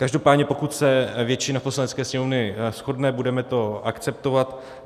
Každopádně pokud se většina Poslanecké sněmovny shodne, budeme to akceptovat.